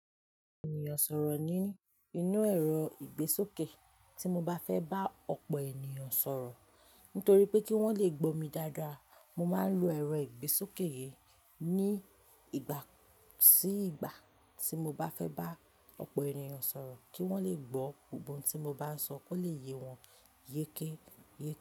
Ènìyàn sọ̀rọ̀ ní inú ẹ̀rọ ìgbésókè tí mo bá fẹ́ bá ọ̀pọ̀ ènìyàn sọ̀rọ̀. Nítorí pé kí wọ́n le gbó mi dáadáa, mo máa ń lo ẹ̀rọ ìgbésókè yìí ní ìgbà sí ìgbà tí mo bá fẹ́ bá ọ̀pọ̀ ènìyàn sọ̀rọ̀ kí wọ́n le gbó gbogbo ohun tí mo bá ń sọ kó lè yé wọn yékéyé.